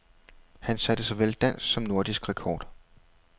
Han satte såvel dansk som nordisk rekord.